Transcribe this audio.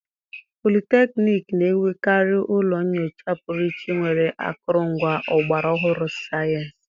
politekniiki na-enwekarị ụlọ nnyocha pụrụ iche nwere akụrụngwa ọgbara ọhụrụ sayensị.